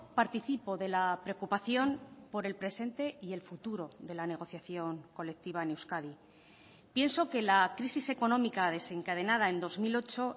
participo de la preocupación por el presente y el futuro de la negociación colectiva en euskadi pienso que la crisis económica desencadenada en dos mil ocho